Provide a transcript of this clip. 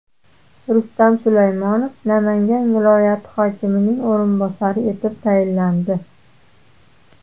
Rustam Sulaymonov Namangan viloyat hokimining o‘rinbosari etib tayinlandi.